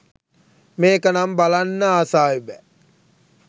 මේක නම් බලන්න ආසාවෙ බෑ